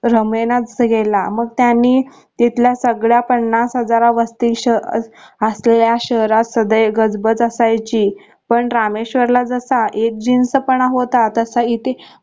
रमेनाच गेला मग त्यानी तिथल्या सगळ्या पन्नास हजारास वस्ती असलेल्या शहरात सदैव गजबज असायची पण रामेश्वरला जसा एकजीन्स पणा होता तसा इथे